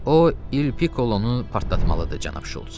O İl Piklonu partlatmalıdır, cənab Şults.